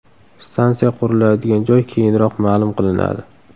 Stansiya quriladigan joy keyinroq ma’lum qilinadi.